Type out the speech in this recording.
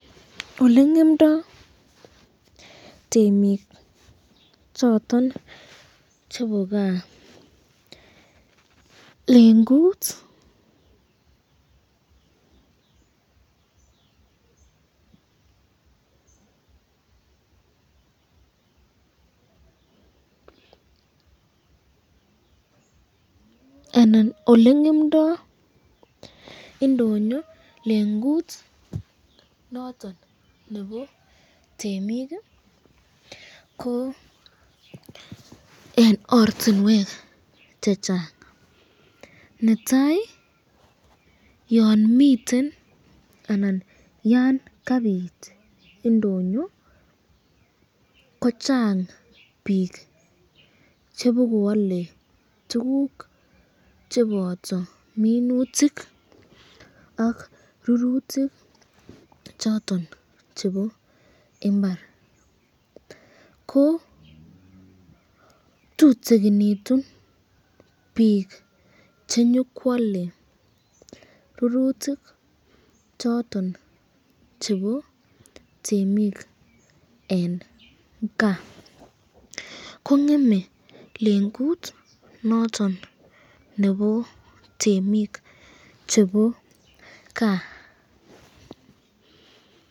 olengemdo temik choton chebo kaa lengut ,anan olengemdo indonyo lengut noton nebo temik ko eng ortinwek chechang, netai yon miten anan Yan kabit indonyo ko chang bik chebokoale tukuk cheboto minutik ak rurutik choton chebo imbar, ko tutukinitun bik chenyokwale rurutik choton chebo temik eng kaa, kongeme lengut noton chebo temik chebo kaa.